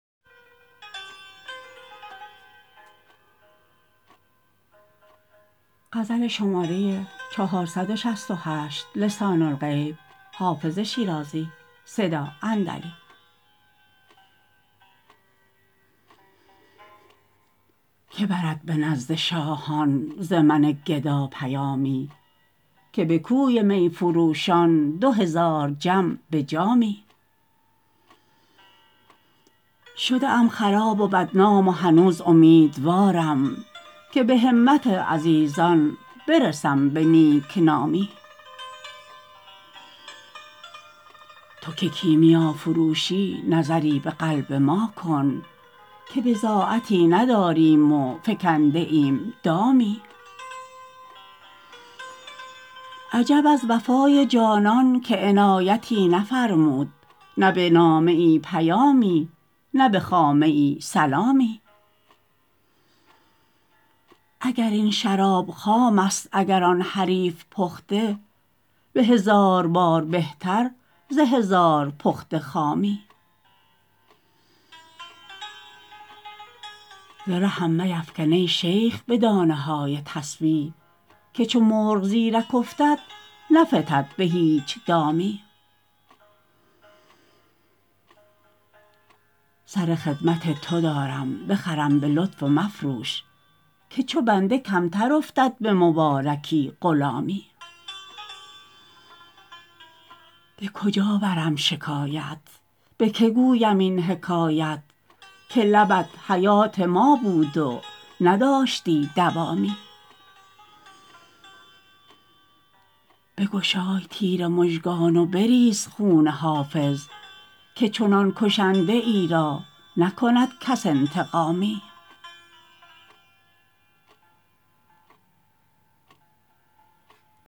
که برد به نزد شاهان ز من گدا پیامی که به کوی می فروشان دو هزار جم به جامی شده ام خراب و بدنام و هنوز امیدوارم که به همت عزیزان برسم به نیک نامی تو که کیمیافروشی نظری به قلب ما کن که بضاعتی نداریم و فکنده ایم دامی عجب از وفای جانان که عنایتی نفرمود نه به نامه ای پیامی نه به خامه ای سلامی اگر این شراب خام است اگر آن حریف پخته به هزار بار بهتر ز هزار پخته خامی ز رهم میفکن ای شیخ به دانه های تسبیح که چو مرغ زیرک افتد نفتد به هیچ دامی سر خدمت تو دارم بخرم به لطف و مفروش که چو بنده کمتر افتد به مبارکی غلامی به کجا برم شکایت به که گویم این حکایت که لبت حیات ما بود و نداشتی دوامی بگشای تیر مژگان و بریز خون حافظ که چنان کشنده ای را نکند کس انتقامی